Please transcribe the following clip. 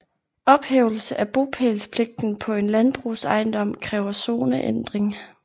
Ophævelse af bopælspligten på en landbrugsejendom kræver zoneændring